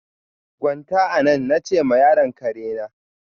Gwanta anan! na che ma yaron karena.